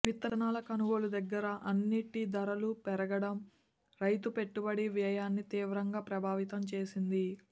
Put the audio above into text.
విత్తనాల కొనుగోలు దగ్గర నుంచి అన్నింటి ధరలూ పెరగడం రైతు పెట్టుబడి వ్యయాన్ని తీవ్రంగా ప్రభావితం చేసింది